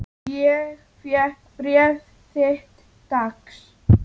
Ég fékk bréf þitt dags.